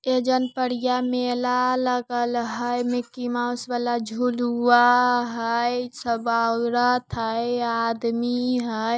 Agent पड़िया मेला लागल है मिकी माउस वाला झुलुआ है सब औरत हइ आदमी है।